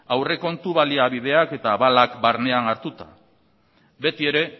aurrekontu baliabideak eta abalak barnean hartuta beti ere